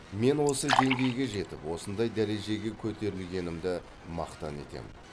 мен осы деңгейге жетіп осындай дәрежеге көтерілгенімді мақтан етем